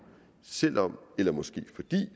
selv om eller måske